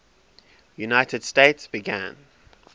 united states began